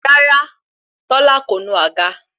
Rárá tola ko nu àga